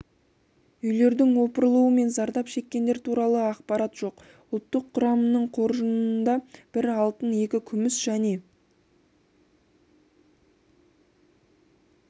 үйлердің опырылуы мен зардап шеккендер туралы ақпарат жоқ ұлттық құраманың қоржынында бір алтын екі күміс және